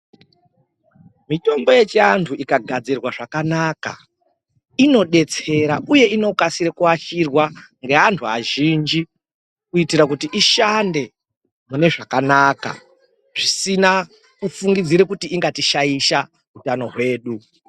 Mitombo yechiantu ikagadzirwa zvakanaka inodetsera uye inokasira kuashirwa ngeantu azhinji kuitira kuti ishande mune zvakanaka zvisina kufungidzira kuti ingatishaisha hutano hwedu.